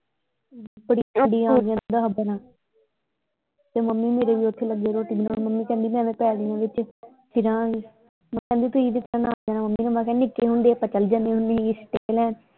ਤੇ ਮੰਮੀ ਮੇਰੀ ਵੀ ਓਥੇ ਲੱਗੀ ਰੋਟੀ ਬਣਾਉਣ ਮੰਮੀ ਕਹਿੰਦੀ ਐਵੇਂ ਪੈਲੀਆਂ ਚ ਫਿਰਾਂ ਗੇ ਕਹਿੰਦੀ ਤੁਸੀਂ ਮੈਂ ਕਿਹਾ ਨਿੱਕੇ ਹੁੰਦੇ ਆਪਾਂ ਚੱਲ ਜਾਂਦੇ ਹੁੰਦੇ ਸੀਗੇ ਲੈਣ।